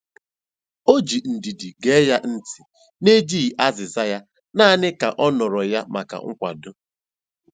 O ji ndidi gee ya ntị n'enyeghị azịza ya, naanị ka ọ nọrọ ya maka nkwado.